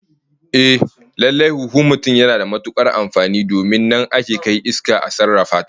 Ehh, lallai huhun mutum yana da matukar amfani domin nan ake kai iska a sarrafa ta